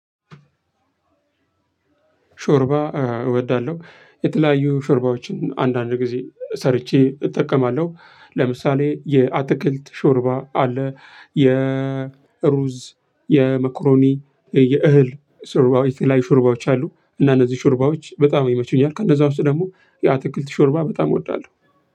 ሾርባ እወዳለሁ የተለያዩ ሾርባዎችን አንዳንድ ጊዜ ሰርቼ እጠቀማለሁ። ለምሳሌ የአትክልት ሾርባ አለ የሩዝ የመኩሮኒ የእህል ሽርባዎች የተለያዩ አሉ። እና እነዚህ ሽርባዎች በጣም ይመቹኛል ከነዛ ውስጥ ደግሞ ያ ትክክልት ሾርባ በጣም እወዳለሁ።